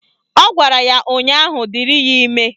Ọ gwara ya ụnyaahụ " Dịrị ya ime"